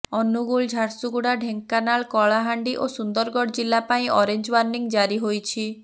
ଅନୁଗୁଳ ଝାରସୁଗୁଡ଼ା ଢ଼େଙ୍କାନାଳ କଳାହାଣ୍ଡି ଓ ସୁନ୍ଦରଗଡ଼ ଜିଲ୍ଲା ପାଇଁ ଅରେଞ୍ଜ ୱାର୍ଣ୍ଣିଂ ଜାରି ହୋଇଛି